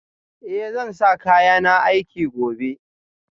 Eh zan sa kayana aiki gobe